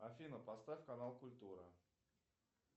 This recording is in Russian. афина поставь канал культура